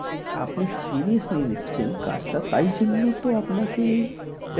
আপনি serious নিচ্ছেন কাজটা তাই জন্য তো আপনাকে